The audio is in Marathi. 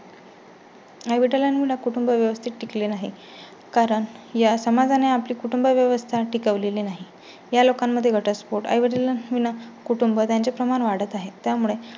आई वडिलां विना कुटुंब व्यवस्थीत टिकले नाही. कारण या समाजा ने आपली कुटुंबव्यवस्था टिकवलेली नाही. या लोकांमध्ये घटस्फोट, आई वडील विना कुटुंब त्यांचे प्रमाण वाढत आहे. त्यामुळे